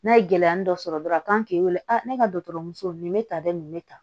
N'a ye gɛlɛya dɔ sɔrɔ dɔrɔn a wele ne ka dɔgɔtɔrɔso nin bɛ tan dɛ nin bɛ tan